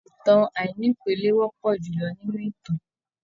ìtàn àìnípele wọpọ julọ nínú ìtàn.